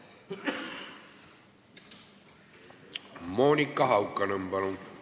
Monika Haukanõmm, palun!